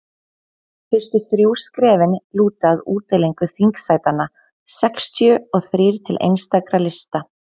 fyrstu þrjú skrefin lúta að útdeilingu þingsætanna sextíu og þrír til einstakra lista